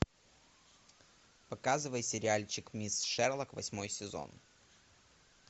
показывай сериальчик мисс шерлок восьмой сезон